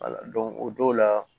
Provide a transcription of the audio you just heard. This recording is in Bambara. o don la